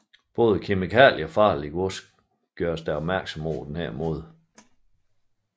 Også kemikalier og farligt gods gøres der opmærksom på på denne måde